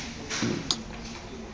ntlo